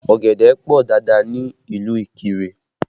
Ọ̀gẹ̀dẹ̀ pọ dáadáa ní ìlú Ikire